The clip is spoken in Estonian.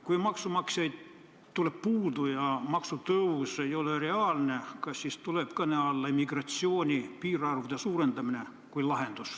Kui maksumaksjaid jääb puudu ja maksutõus ei ole reaalne, kas siis tuleks lahendusena kõne alla immigratsiooni piirarvude suurendamine?